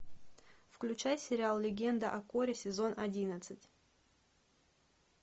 включай сериал легенда о корре сезон одиннадцать